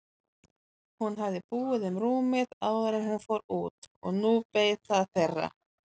Hún hafði búið um rúmið áður en hún fór út og nú beið það þeirra.